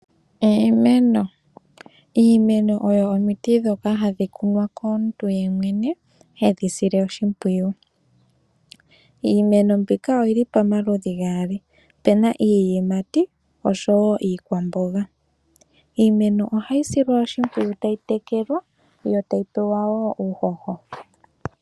Iimeno Iimeno odho omiti ndhoka hadhi kunwa komuntu yemwene hedhi sile oshimpwiyu. Iimeno mbika oyi li pamaludhi paali. Opu na iiyimati osho wo iikwamboga. Iimeno ohayi silwa oshimpwiyu tayi tekelwa yo tayi pewa wo uuhoho.